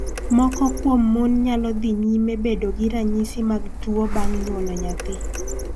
Moko kuom mon nyalo dhi nyime bedo gi ranyisi mag tuo bang� nyuolo nyathi.